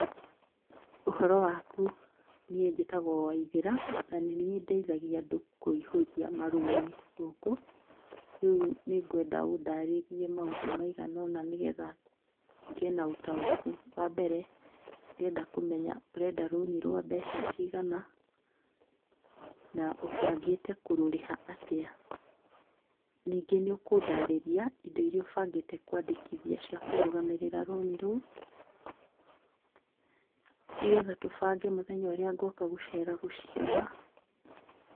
"Ũhoro waku, niĩ njĩtagwo Waithera na nĩ niĩ ndeithagia andũ kũihũria marũni gũkũ rĩu nĩngwenda ũndarĩrie maũndũ maigana ona nĩgetha ngĩe na ũtaũku, wa mbere ndĩrenda kũmenya urenda rũni rwa mbeca cigana na úũangĩte kũrũrĩha atĩa ,ningĩ nĩũkundarĩria indo iria ũbangĩte kwandĩkithia cia kũrũgamĩrĩra rũni rũu, nĩgetha tũbange mũthenya ũrĩa ngonga gũcera gũciona.''